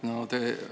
Aitäh!